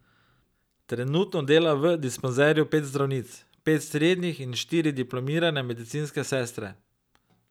Trenutno dela v dispanzerju pet zdravnic, pet srednjih in štiri diplomirane medicinske sestre.